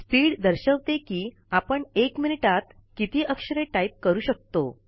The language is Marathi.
स्पीड दर्शवते कि आपण १ मिनटात किती अक्षरे टाईप करू शकतो